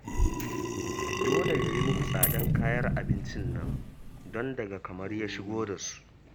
Dole ya yi muku tsadar kayan abincin nan, don daga Kamaru ya shigo da su